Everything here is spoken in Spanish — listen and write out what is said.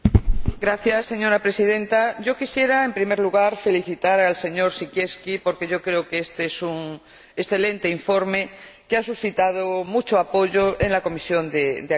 Señora Presidenta, yo quisiera, en primer lugar, felicitar al señor Siekierski porque creo que éste es un excelente informe, que ha suscitado mucho apoyo en la Comisión de Agricultura.